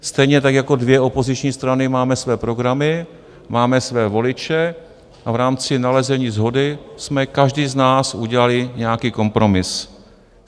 Stejně tak jako dvě opoziční strany máme své programy, máme své voliče a v rámci nalezení shody jsme každý z nás udělali nějaký kompromis.